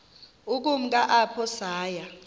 ukumka apho saya